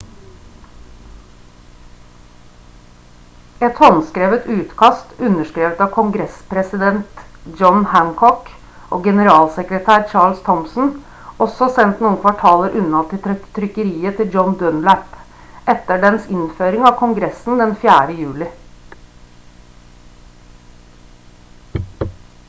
et håndskrevet utkast underskrevet av kongressens president john hancock og generalsekretær charles thomson og så sendt noen kvartaler unna til trykkeriet til john dunlap etter dens innføring av kongressen den 4. juli